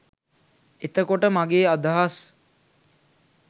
එතකොට මගේ අදහස්